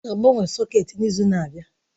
Ọ ga-agbanwe sọ̀két n'izu na-abịa.